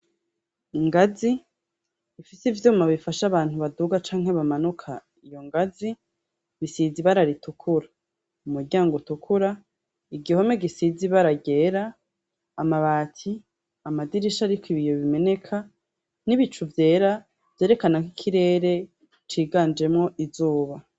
Ingazi ifise ivyuma bifasha abantu baduga canke bamanuka , iyo ngazi risize ibara ritukura, umuryango utukura, igihome gisize ibara ryera , amabati , amadirisha ariko ibiyo bimeneka n'ibicu vyera vyerekana kw'ikirere ciganjemwo izuba